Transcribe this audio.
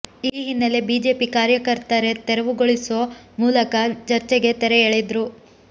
ಈ ಹಿನ್ನೆಲೆ ಬಿಜೆಪಿ ಕಾರ್ಯಕರ್ತರೆ ತೆರವುಗೊಳಿಸೋ ಮೂಲಕ ಚರ್ಚೆಗೆ ತೆರೆ ಎಳೆದ್ರು